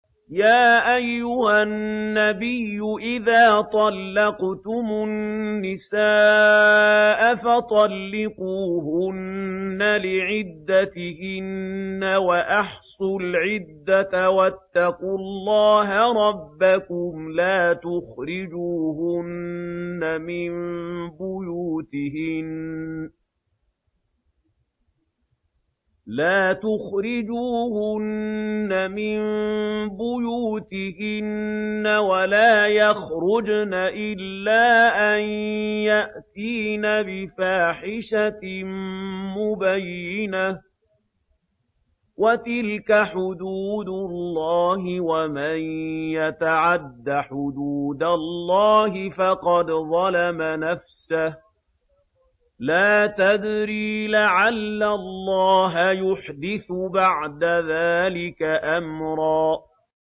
يَا أَيُّهَا النَّبِيُّ إِذَا طَلَّقْتُمُ النِّسَاءَ فَطَلِّقُوهُنَّ لِعِدَّتِهِنَّ وَأَحْصُوا الْعِدَّةَ ۖ وَاتَّقُوا اللَّهَ رَبَّكُمْ ۖ لَا تُخْرِجُوهُنَّ مِن بُيُوتِهِنَّ وَلَا يَخْرُجْنَ إِلَّا أَن يَأْتِينَ بِفَاحِشَةٍ مُّبَيِّنَةٍ ۚ وَتِلْكَ حُدُودُ اللَّهِ ۚ وَمَن يَتَعَدَّ حُدُودَ اللَّهِ فَقَدْ ظَلَمَ نَفْسَهُ ۚ لَا تَدْرِي لَعَلَّ اللَّهَ يُحْدِثُ بَعْدَ ذَٰلِكَ أَمْرًا